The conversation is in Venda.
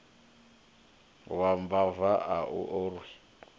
wa mbava a u orwi